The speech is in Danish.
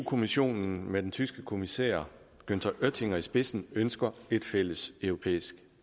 kommissionen med den tyske kommissær günther oettinger i spidsen ønsker et fælles europæisk